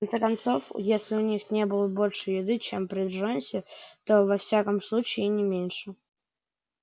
в конце концов если у них и не было больше еды чем при джонсе то во всяком случае и не меньше